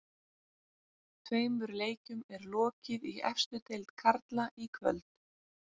Tveimur leikjum er lokið í efstu deild karla í kvöld.